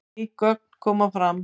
Ný gögn koma fram